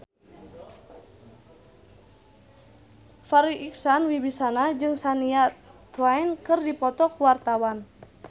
Farri Icksan Wibisana jeung Shania Twain keur dipoto ku wartawan